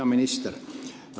Hea minister!